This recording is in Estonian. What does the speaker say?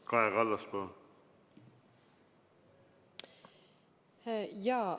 Kaja Kallas, palun!